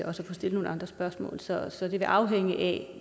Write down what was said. også kan stille nogle andre spørgsmål så det vil afhænge af